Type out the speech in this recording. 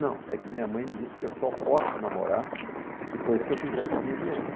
Não, é que minha mãe disse que eu só posso namorar depois que eu fizer quinze anos.